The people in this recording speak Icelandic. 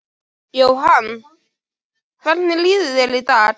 Jóhann: Hvernig líður þér í dag?